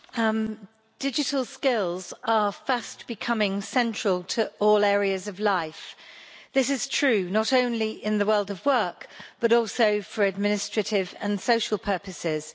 Madam President, digital skills are fast becoming central to all areas of life. This is true not only in the world of work, but also for administrative and social purposes.